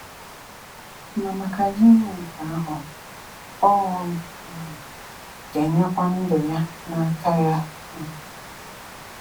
Ma maka ya ime nke ahụ, ọ um ga-enyekwa ndụ ya n’aka Ya. um